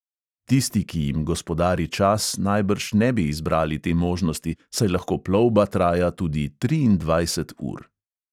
Tisti, ki jim gospodari čas, najbrž ne bi izbrali te možnosti, saj lahko plovba traja tudi triindvajset ur.